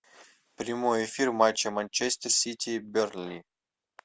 прямой эфир матча манчестер сити бернли